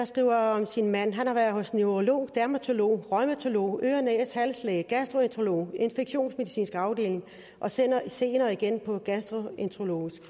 skriver om sin mand han har været hos neurolog dermatolog reumatolog øre næse hals læge gastroenterolog infektionsmedicinsk afdeling og senere senere igen på gastroenterologisk